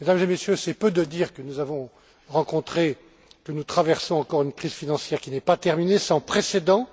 Mesdames et Messieurs, c'est peu de dire que nous avons rencontré, que nous traversons encore une crise financière qui n'est pas terminée, sans précédent.